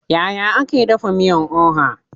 Yaya ake dafa miyan oha?